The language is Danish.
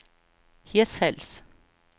Hirtshals